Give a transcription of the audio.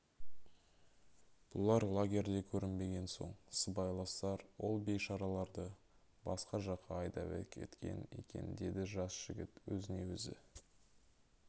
бұлар лагерде көрінбеген соң сыбайластар ол бейшараларды басқа жаққа айдап әкеткен екен деді жас жігіт өзіне өзі